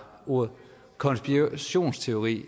ordet konspirationsteori